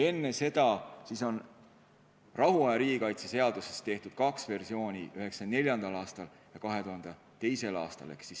Enne seda on rahuaja riigikaitse seadusest tehtud kaks versiooni: 1994. aastal ja 2002. aastal.